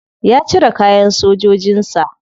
Ya cire kayan sojojin sa.